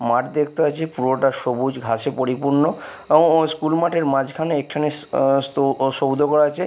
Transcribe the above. মাঠ দেখতে পাচ্ছি পুরোটা সবুজ ঘাসে পরিপূর্ণ এবং ও স্কুল মাঠের মাঝখানে একটুখানি আঃ স্তো ও সৌধ করা আচে।